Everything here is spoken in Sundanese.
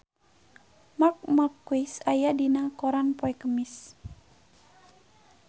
Marc Marquez aya dina koran poe Kemis